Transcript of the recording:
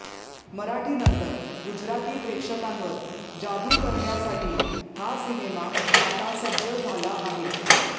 मराठीनंतर गुजराती प्रेक्षकांवर जादू करण्यासाठी हा सिनेमा आता सज्ज झाला आहे